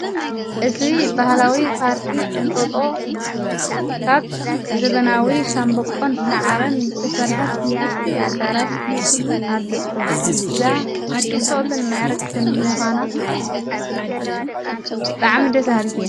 እዙይ ባህላዊ ጳርኪ እንጠጦ ካብ ዘበናዊ ሻንበቆን ሠዓርን ዝተሠርሐት ንእሽቲ ኣዳራሽ ኣለቶ። እዛ ጽቡቕትን መዕረግትን ምዃና ብጣዕሚ ደሰበሃልቲ እያ።